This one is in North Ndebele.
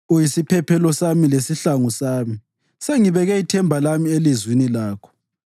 Uyisiphephelo sami lesihlangu sami; sengibeke ithemba lami elizwini lakho.